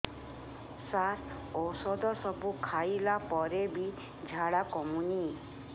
ସାର ଔଷଧ ସବୁ ଖାଇଲା ପରେ ବି ଝାଡା କମୁନି